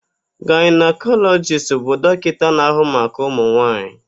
Gaịnakọlọjist bụ dọkịta na-ahụ maka ụmụnwaanyị.